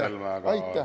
Aitäh, Mart Helme!